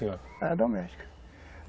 Era doméstica.